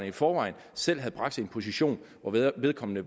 i forvejen selv havde bragt sig i en position hvor vedkommende